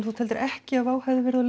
þú teldir ekki að Wow hefði verið á